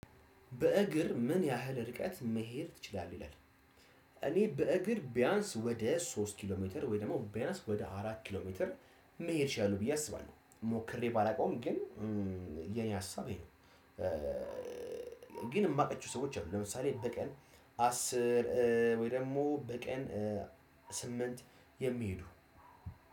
በእግር ምን ያህል ርቀት መሄድ ትችላለህ ይላል? እኔ በእግር ቢያንስ ወደ ሶስት ኪሎ ሜትር ወይ ደግሞ ቢያንስ ወደ አራት ኪሎ ሜትር መሄድ እችላለሁ ብዬ አስባለሁ ሞክሬ ባላውቀውም ግን የኔ ሀሳብ ይሄ ነው። ግን እማቃቸው ሰዎች አሉ። ለምሳሌ በቀን አስር ወይ ደግሞ በቀን ስምንት የሚሄዱ